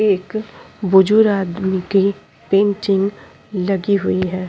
एक बुजुर्ग आदमी के पेंटिंग लगी हुई है |